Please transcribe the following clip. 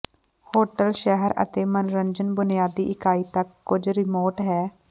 hotel ਸ਼ਹਿਰ ਅਤੇ ਮਨੋਰੰਜਨ ਬੁਨਿਆਦੀ ਇਕਾਈ ਤੱਕ ਕੁਝ ਰਿਮੋਟ ਹੈ